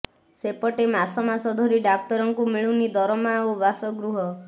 ସେପଟେ ମାସ ମାସ ଧରି ଡାକ୍ତରଙ୍କୁ ମିଳୁନି ଦରମା ଓ ବାସଗୃହ